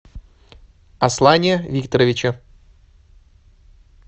аслане викторовиче